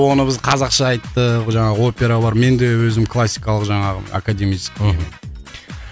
оны қазақша айттық жаңағы опералармен де өзім классикалық жаңағы академический мхм